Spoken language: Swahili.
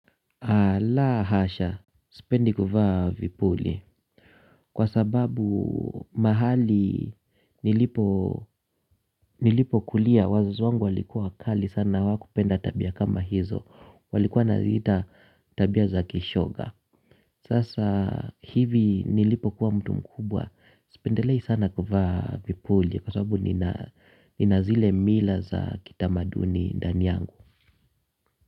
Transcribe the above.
Alaa hasha, sipendi kuvaa vipuli. Kwa sababu mahali nilipo kulia wazazi wangu walikuwa wakali sana wakupenda tabia kama hizo. Walikuwa na ziita tabia za kishoga. Sasa hivi nilipo kuwa mtu mkubwa, sipendelei sana kuvaa vipuli. Kwa sababu nina zile mila za kitamaduni ndani yangu.